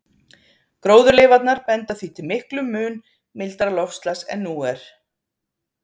Gróðurleifarnar benda því til miklum mun mildara loftslags en nú er.